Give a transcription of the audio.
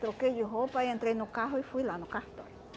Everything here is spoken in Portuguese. Troquei de roupa, aí entrei no carro e fui lá no cartório.